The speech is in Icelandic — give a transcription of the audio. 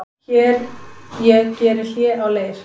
Hér ég geri hlé á leir